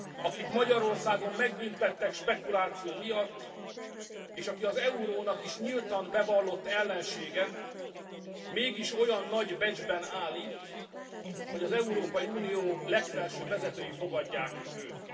akit Magyarországon megbüntettek spekuláció miatt, és aki az eurónak is nyíltan bevallott ellensége, mégis olyan nagy becsben áll itt, hogy az Európai Unió legfelsőbb vezetői fogadják őt.